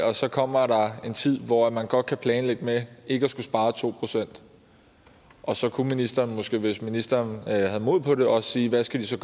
og så kommer der en tid hvor man godt kan planlægge med ikke at skulle spare to procent og så kunne ministeren måske hvis ministeren havde mod på det også sige hvad de så